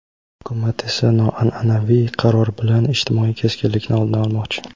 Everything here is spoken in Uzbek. Hukumat esa noanʼanaviy qaror bilan ijtimoiy keskinlikni oldini olmoqchi.